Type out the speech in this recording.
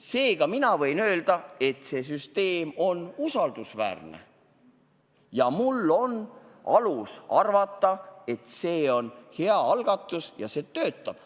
Seega võin ma öelda, et see süsteem on usaldusväärne, ja mul on alust arvata, et see on hea algatus, mis töötab.